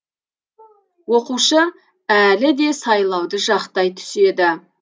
оқушы әлі де сайлауды жақтай түседі